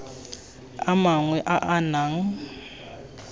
a mangwe a a nang